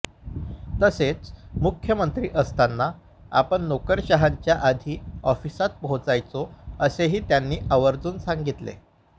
तसेच मुख्यमंत्री असताना आपण नोकरशहांच्या आधी ऑफिसात पोहोचायचो असेही त्यांनी आवर्जून सांगितले